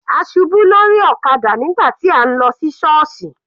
A ṣubú lórí ọ̀kadà nígbà tí à ń lọ sí sọọsi.